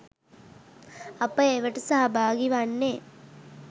අප ඒවාට සහභාගී වන්නෙ